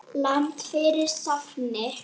Lítið var barist þetta ár.